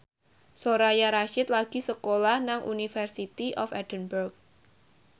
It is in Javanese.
Soraya Rasyid lagi sekolah nang University of Edinburgh